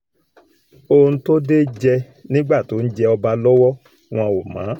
ohun tó dé jẹ́ nígbà tó ń jẹ́ ọba lọ́wọ́ wọn ò mọ̀ ọ́n